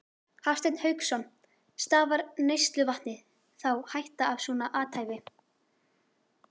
Hafsteinn Hauksson: Stafar neysluvatni þá hætta af svona athæfi?